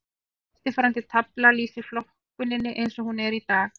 Eftirfarandi tafla lýsir flokkuninni eins og hún er í dag.